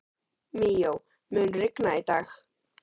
Míó, mun rigna í dag?